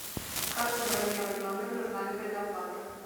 как забронировать номер нужна ли предоплата